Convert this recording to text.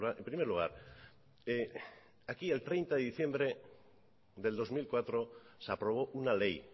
en primer lugar aquí el treinta de diciembre del dos mil cuatro se aprobó una ley